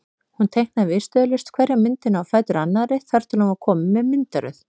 Hún teiknaði viðstöðulaust hverja myndina á fætur annarri þar til hún var komin með myndaröð.